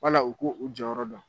Bala u k'u jɔyɔrɔ dɔn.